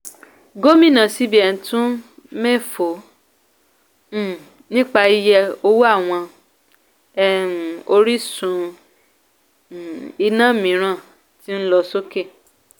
gómìnà cbn tún méfò um nípa iye owó àwọn um orísun um iná mìíràn tí ńlọ sókè.